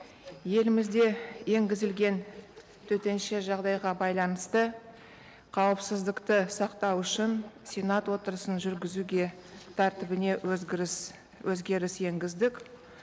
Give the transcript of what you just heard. елімізде енгізілген төтенше жағдайға байланысты қауіпсіздікті сақтау үшін сенат отырысын жүргізуге тәртібіне өзгеріс енгіздік